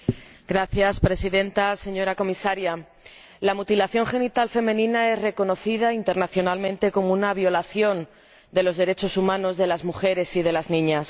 Señora Presidenta, señora Comisaria, la mutilación genital femenina es reconocida internacionalmente como una violación de los derechos humanos de las mujeres y de las niñas.